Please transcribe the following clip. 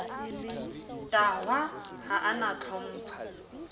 tahwa ha a na tlhompho